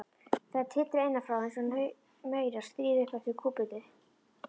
Þær titra innan frá einsog maurar skríði upp eftir kúpunni.